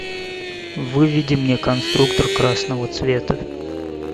выведи мне конструктор красного цвета